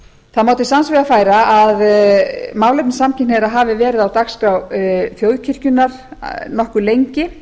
það má til sanns vegar færa að málefni samkynhneigðra hafi verið verið á dagskrá þjóðkirkjunnar nokkuð lengi